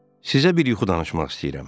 Sizə bir yuxu danışmaq istəyirəm.